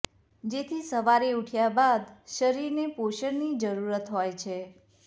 જેથી સવારે ઉઠ્યા બાદ શરીરને પોષણની જરૂરત હોય છે